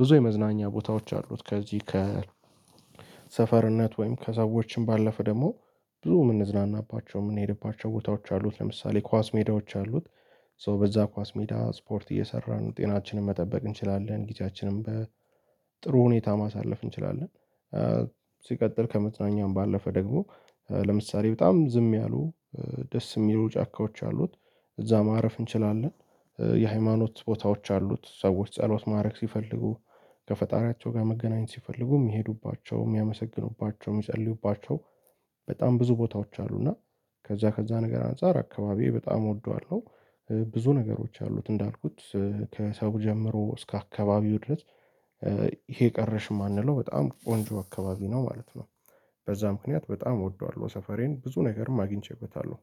ብዙ የመዝናኛ ቦታዎች አሉት ከዚህ ሰፈርነት ወይም ከሰዎችም ባለፈ ደግሞ ብዙ የምንዝናናባቸው የምንሄድባቸው ቦታዎች አሉት ለምሳሌ ኳስ ሜዳዎች አሉት ሶ በዛ ኳስ ሜዳ ስፖርት እየሰራ ነው ጤናችንን መጠበቅ እንችላለን ጊዜያችንን በጥሩ ሁኔታ ማሳለፍ እንችላለን። ሲቀጥል ከመዝናኝም ባለፈ ደግሞ ለምሳሌ በጣም ዝም ያሉ ደስ የሚሉ ጫካዎች አሉት እዛ ማረፍ እንችላለን የሃይማኖት ቦታዎች አሉት ሰዎች ጸሎት ማድረግ ሲፈልጉ ከፈጣሪያቸው ጋር መገናኘት ሲፈልጉ የሚሄዱባቸው የሚያመሰግኑባቸው የሚጸልዩባቸው በጣም ብዙ ቦታዎች አሉ። እና ከዛ ከዛ ነገር አንፃር አካባቢዬ በጣም እወደዋለሁ። ብዙ ነገሮች አሉት እንዳልኩት ከሰው ጀምሮ እስከ አካባቢው ድረስ ይሄ ቀረሽም የማንለው በጣም ቆንጆ አካባቢ ነው ማለት ነው። በዛ ምክንያት በጣም እወደዋለሁ ሰፈሬን ብዙ ነገርም አግኝቼበታለሁ።